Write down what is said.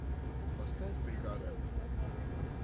поставь бригада